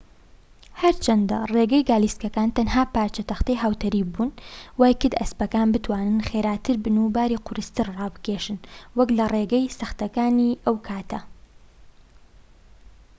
هەرچەندە ڕێگەی گالیسکەکان تەنها پارچە تەختەی هاوتەریببون وایکرد ئەسپەکان بتوانن خێراتر بن و باری قورستر ڕابکێشن وەك لە ڕێگە سەختەکانی ئەو کاتە